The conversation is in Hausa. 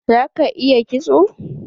Za ka iya kitso?